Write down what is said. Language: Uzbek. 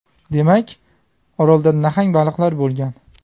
Demak, Orolda nahang baliqlar bo‘lgan.